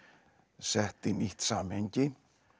sett í nýtt samhengi